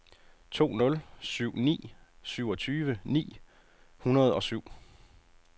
to nul syv ni syvogtyve ni hundrede og syv